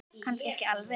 Kannski ekki alveg.